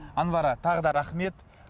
анвара тағы да рахмет